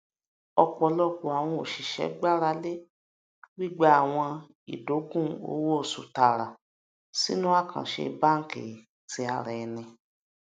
ọpọlọpọ àwọn oṣiṣẹ gbárà lé gbigba àwọn ìdògún owóoṣù taara sínú àkàǹṣe banki ti ara ẹni